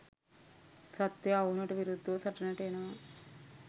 සත්වයා ඔවුනට විරුද්ධව සටනට එනවා.